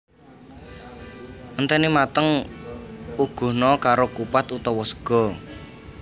Enteni mateng uguhna karo kupat utawa sega